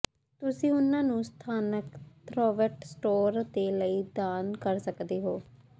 ਤੁਸੀਂ ਉਨ੍ਹਾਂ ਨੂੰ ਸਥਾਨਕ ਥ੍ਰੈੱਵਟ ਸਟੋਰ ਦੇ ਲਈ ਦਾਨ ਕਰ ਸਕਦੇ ਹੋ